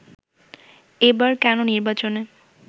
এবার কেন নির্বাচনে